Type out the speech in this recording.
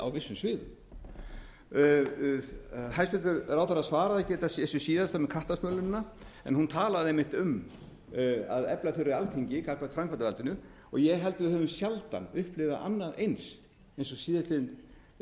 á vissum sviðum hæstvirtur ráðherra svaraði ekki þessu síðasta um kattasmölunina en hún talaði einmitt um að efla þurfi alþingi gagnvart framkvæmdarvaldinu ég held við höfum sjaldan upplifað annað eins eins og síðastliðin tvö ár